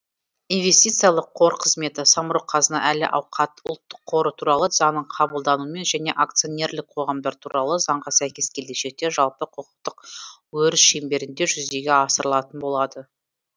инвестициялық қор қызметі самрұқ қазына әл ауқат ұлттық қоры туралы заңның қабылдануымен және акционерлік қоғамдар туралы заңға сәйкес келешекте жалпы құқықтық өріс шеңберінде жүзеге асырылатын болады